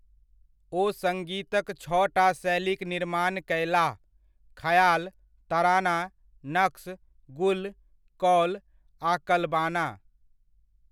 ओ सङ्गीतक छओटा शैलीक निर्माण कयलाह, 'खयाल, तराना, नक्श, गुल, कौल आ कलबाना'।